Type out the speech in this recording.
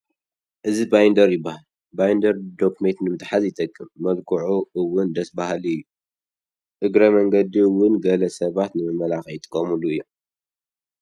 እዚ ባይንደር ይበሃል፡፡ ባይንደር ዶክመንት ንምትሓዝ ይጠቅም፡፡ መልክዑ እውን ደስ በሃሊ እዩ፡፡ እግረ መንገዲ እውን ገለ ሰባት ንመመላክዒ ይጠቅሉ እዮም፡፡